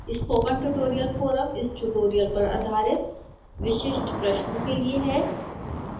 spoken tutorial forum इस tutorial पर आधारित विशिष्ट प्रश्नों के लिए है